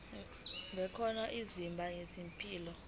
ngcono izinga lempilo